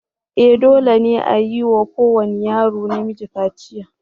E! dole ne a yi wa kowane yaro namiji kaciya.